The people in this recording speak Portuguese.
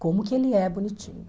Como que ele é bonitinho.